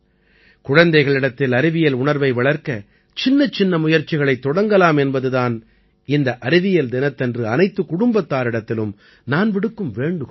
குழந்தைகளிடத்தில் அறிவியல் உணர்வை வளர்க்க சின்னச்சின்ன முயற்சிகளைத் தொடங்கலாம் என்பது தான் இந்த அறிவியல் தினத்தன்று அனைத்துக் குடும்பத்தாரிடத்திலும் நான் விடுக்கும் வேண்டுகோள்